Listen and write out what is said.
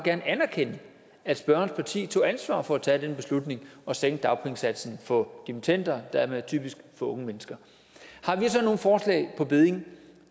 anerkende at spørgerens parti tog ansvar for at tage den beslutning at sænke dagpengesatsen for dimittender og dermed typisk for unge mennesker har vi så nogle forslag på bedding